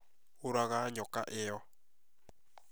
ũũraga nyoka ĩyo